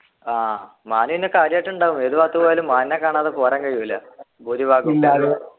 ആഹ് മാന് പിന്നെ കാര്യായിട്ട് ഉണ്ടാകും ഏത് ഭാഗത്തു പോയാലും മാൻനെ കാണാതെ പോരാൻ കയ്യൂല ഭൂരിഭാഗം